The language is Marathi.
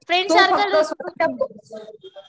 तो फक्त स्वतःच्याच